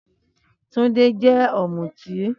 Túndé jẹ́ Ọ̀mùtí